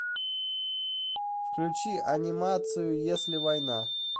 включи анимацию если война